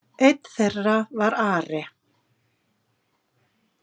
Einn þeirra var Ari.